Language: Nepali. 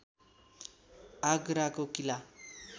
आगराको किला